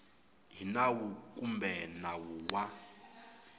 hi nawu kumbe nawu wa